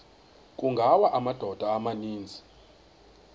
kungawa amadoda amaninzi